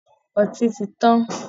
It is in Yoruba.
Ọtí ti tán